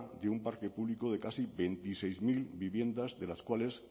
de un parque público de casi veintiséis mil viviendas de las cuales